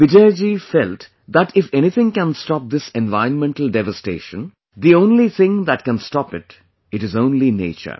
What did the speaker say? Bijoyji felt that if anything can stop this environmental devatation, theonly thing that can stop it, it is only nature